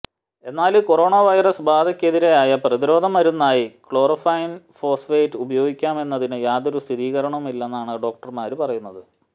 എന്നാല് corona virus ബാധക്കെതിരായ പ്രതിരോധ മരുന്നായി ക്ലോറോകൈ്വന് ഫോസ്ഫേറ്റ് ഉപയോഗിക്കാമെന്നതിന് യാതൊരു സ്ഥിരീകരണവുമില്ലെന്നാണ് ഡോക്ടര്മാര് പറയുന്നത്